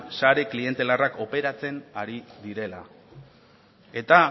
sare klientelarrak operatzen ari direla eta